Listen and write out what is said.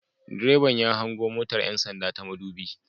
Direban ya hango motar 'yan sanda ta madubi